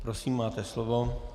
Prosím, máte slovo.